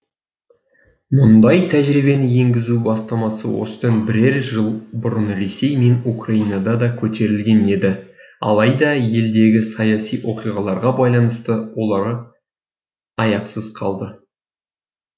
мұндай тәжірибені енгізу бастамасы осыдан бірер жыл бұрын ресей мен украинада да көтерілген еді алайда елдегі саяси оқиғаларға байланысты олары аяқсыз қалды